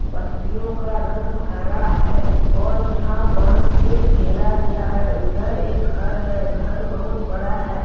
पत्तियों का रंग हरा है और यहां बांस से घेरा गया है उधर एक घर है घर बहुत बड़ा है।